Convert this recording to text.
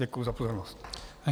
Děkuji za pozornost.